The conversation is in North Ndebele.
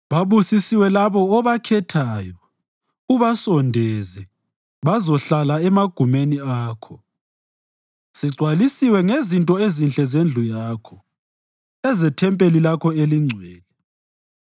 Babusisiwe labo obakhethayo ubasondeze bazohlala emagumeni Akho! Sigcwalisiwe ngezinto ezinhle zendlu Yakho, ezethempeli lakho elingcwele.